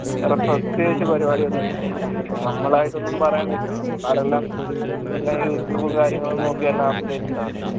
വേറെ പ്രത്യേകിച്ചു പരിവാടിയെന്ന് ചോയ്ച്ചയന നമ്മളിയിട്ടോന്നും പറയാം നിക്കണ്ട പുള്ളാരെല്ലാം എല്ലാ യൂട്യൂബ് കാര്യങ്ങളെല്ലാം എല്ലാം updated ആണ്